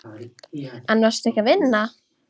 En varstu ekki að vinna?